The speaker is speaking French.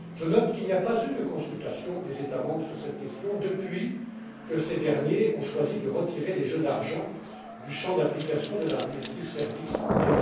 Je note qu'il n'y a pas eu de consultation des États membres sur cette question depuis que ces derniers ont choisi de retirer les jeux d'argent du champ d'application de la directive services en